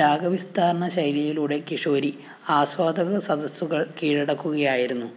രാഗവിസ്താരശൈലിയിലൂടെ കിഷോരി ആസ്വാദകസദസ്സുകള്‍ കീഴടക്കുകയായിരുന്നു